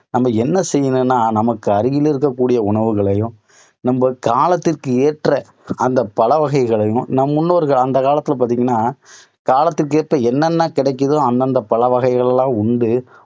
நம்ம என்ன செய்யணும்னா நமக்கு அருகில் இருக்கக்கூடிய உணவுகளையும், நம்ம காலத்துக்கு ஏற்ற அந்த பழவகைகளையும் நம் முன்னோர்கள் அந்த காலத்தில பார்த்தீங்கன்னா, காலத்துக்கேற்ற என்னென்ன கிடைக்குதோ அந்தந்த பழ வகைகள் எல்லாம் எல்லாம் உண்டு